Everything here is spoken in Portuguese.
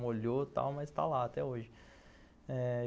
Molhou e tal, mas está lá até hoje. É...